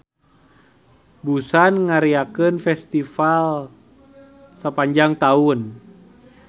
Busan ngariakeun festival sapanjang taun.